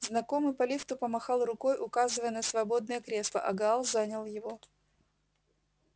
знакомый по лифту помахал рукой указывая на свободное кресло и гаал занял его